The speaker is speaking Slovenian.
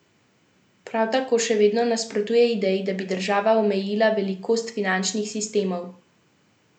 Prav tako še vedno nasprotuje ideji, da bi država omejila velikost finančnih sistemov.